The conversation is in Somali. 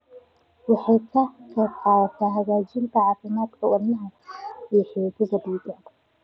Waxay ka qaybqaadataa hagaajinta caafimaadka wadnaha iyo xididdada dhiigga.